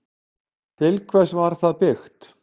Til hvers var það byggt?